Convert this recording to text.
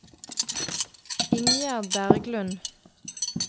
Ingjerd Berglund